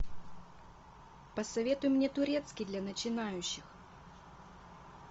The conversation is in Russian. посоветуй мне турецкий для начинающих